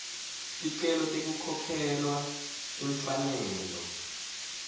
ticelo tekukhokhelwa timfanelo